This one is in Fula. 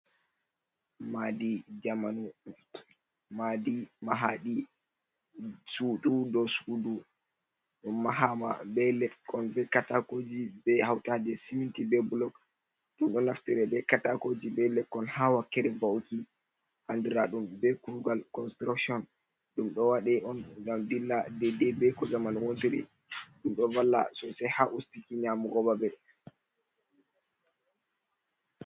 Maadi jamanu, maadi mahaɗi sudu dou sudu. Ɗum mahama be lekkon be katakoji be hautade siminti be blok. Ɗum ɗo naftira be katakoji be lekkon ha wakkere ba'uki, andiraɗum be kugal constrokshon. Ɗum ɗo waɗe on ngam dilla dedei be ko zamanu wontiri. Ɗum ɗo valla sosai ha ustuki nyamugo babe.